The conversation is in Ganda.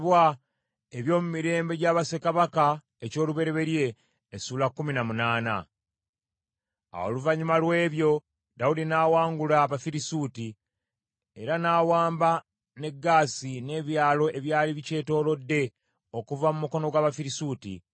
Awo oluvannyuma lw’ebyo, Dawudi n’awangula Abafirisuuti, era n’awamba ne Gaasi n’ebyalo ebyali bikyetoolodde okuva mu mukono gw’Abafirisuuti.